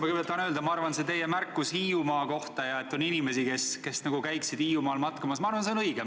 Ma kõigepealt tahan öelda, et minu arvates see teie märkus Hiiumaa kohta, et on inimesi, kes tahaksid Hiiumaal matkamas käia, on õige.